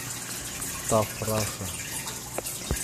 таф раша